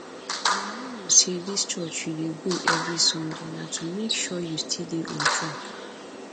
you no know say dis church you dey go every sunday na to make sure you still dey on track